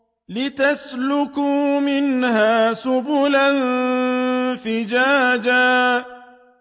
لِّتَسْلُكُوا مِنْهَا سُبُلًا فِجَاجًا